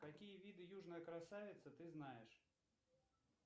какие виды южной красавицы ты знаешь